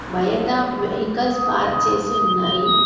బయట vehicles park చేసి ఉన్నాయి.